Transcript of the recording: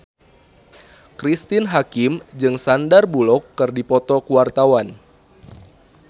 Cristine Hakim jeung Sandar Bullock keur dipoto ku wartawan